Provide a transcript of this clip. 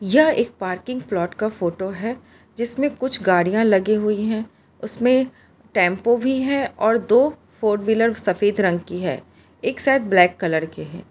यह एक parking plot का फोटो है जिसमें कुछ गाड़ियां लगी हुई है उसमें टेंपो भी है और दो फोर व्हीलर सफेद रंग की है एक शायद ब्लैक कलर के है।